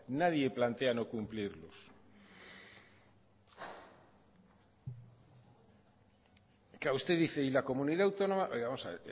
nadie plantea no cumplirlos usted dice y la comunidad autónoma vamos a